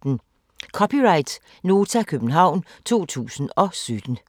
(c) Nota, København 2017